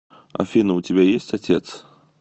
афина у тебя есть отец